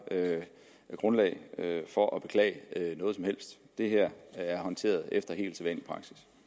grundlag for at beklage noget som helst det her er håndteret